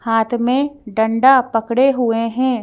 हाथ में डंडा पकड़े हुए है।